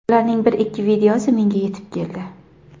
Ularning bir-ikki videosi menga yetib keldi.